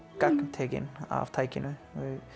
gagntekin af tækinu